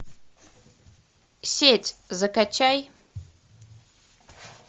сеть закачай